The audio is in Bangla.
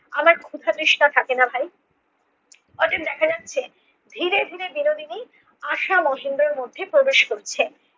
আমার ক্ষুদা তৃষ্ণা থাকে না ভাই। অতএব দেখা যাচ্ছে ধীরে ধীরে বিনোদিনী আশা মহেন্দ্রর মধ্যে প্রবেশ করছে।